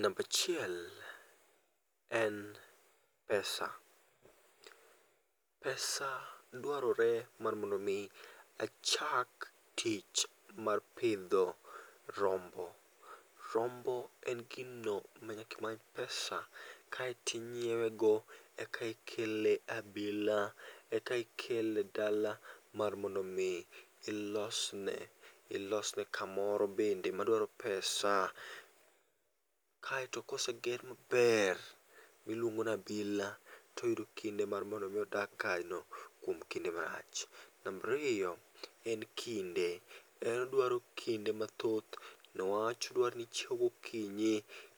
Nambaa achiel, en pesa. pesa dwarore mar mondo mi achak tich mar pidho rombo. Rombo en gino ma nyaka imany pesa kaito inyiewo go eka ikele e abila e kai ikele e dala mar mondo mi ilos ene ilos ne ka moro bende ma dwaro pesa. kaito koseger ma ber ti iluongo ni abira to oyudo kinde mar mondo mi o dag kanyo kuom kinde ma lach. Namba ariyo en kinde, en odwaro kinde ma thoth ne wach dwaro ni ichiewo go kinyi